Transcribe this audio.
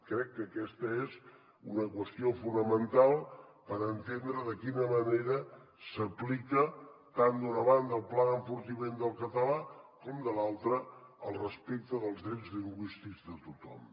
crec que aquesta és una qüestió fonamental per entendre de quina manera s’aplica tant d’una banda el pla d’enfortiment del català com de l’altra el respecte dels drets lingüístics de tothom